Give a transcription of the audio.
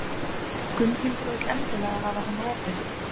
Gunnhildur vill endilega hafa hann opinn.